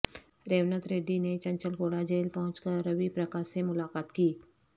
ریونت ریڈی نے چنچل گوڑہ جیل پہنچ کر روی پرکاش سے ملاقات کی